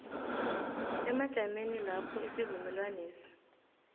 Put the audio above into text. emajameni lapho isivumelwanesi